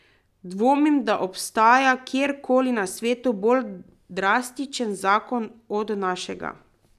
Dvomim, da obstaja kjer koli na svetu bolj drastičen zakon od našega.